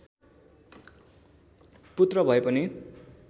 पुत्र भए पनि